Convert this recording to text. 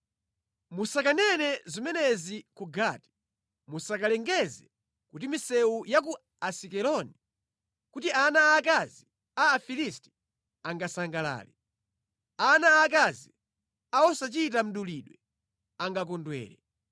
“Musakanene zimenezi ku Gati, musazilengeze ku misewu ya ku Asikeloni, kuti ana aakazi a Afilisti angasangalale, ana aakazi a osachita mdulidwe angakondwere.